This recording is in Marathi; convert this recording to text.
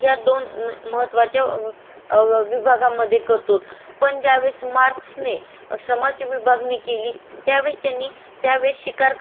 त्या वैक त्यांनी त्या वेडेस शिकार करणारा एक वर्ग होता आणि भाजी पालक करणारा म्हणजे त्या घ काडत डेव्हलपमेंट नसल्यामुळे ही दोन श्रमाचे प्रकार ठरवण्यात आली होती